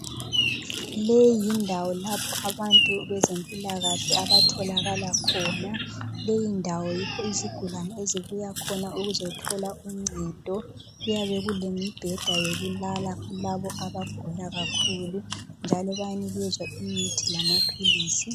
Leyindawo lapho abantu bezempilakahle abatholakala khona. Leyindawo yikho izigulane ezibuya khona ukuzothola uncedo. Kuyabe kulemibheda yokulala kulabo abagula kakhulu njalo bayanikezwa imithi lamaphilisi.